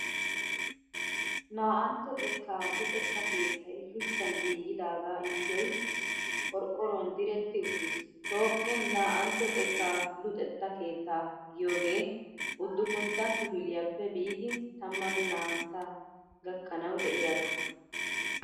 Naa'antto xekka luxetta keettay shuchchan giigidaagaa yuushoy qorqqoruwan diretti uttis. Toophphiyan naa'antto xekka luxetta keettaa giyogee udupuntta kifiliyappe biidi tammanne naa'antta gakkanawu de'iyaagaa.